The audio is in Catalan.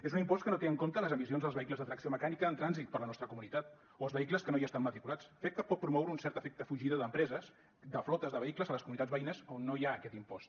és un impost que no té en compte les emissions dels vehicles de tracció mecànica en trànsit per la nostra comunitat o els vehicles que no hi estan matriculats fet que pot promoure un cert efecte fugida d’empreses de flotes de vehicles a les comunitats veïnes a on no hi ha aquest impost